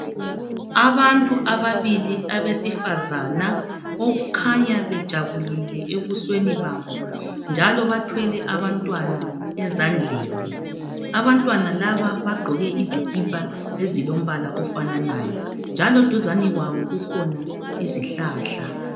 Abantu ababili abesifazana okukhanya bejabulile ebusweni babo, njalo bathwele abantwana ezandleni. Abantwana laba bagqoke izikipa ezilombala ofananayo. Njalo duzane kwabo kukhona izihlahla.